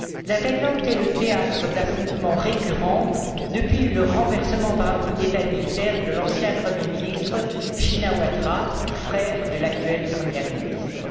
La Thaïlande est le théâtre d'affrontements récurrents depuis le renversement, par un coup d'État militaire, de l'ancien premier ministre Shinawatra, frère de l'actuelle première ministre.